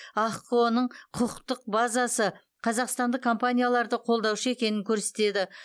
ахқо ның құқықтық базасы қазақстандық компанияларды қолдаушы екенін көрсетеді